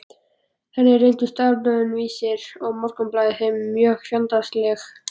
Þannig reyndust dagblöðin Vísir og Morgunblaðið þeim mjög fjandsamleg.